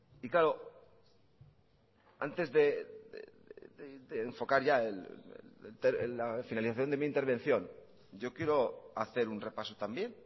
y claro antes de enfocar ya la finalización de mi intervención yo quiero hacer un repaso también